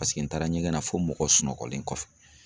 Paseke n taara ɲɛgɛn na fo mɔgɔw sunɔgɔlen kɔfɛ.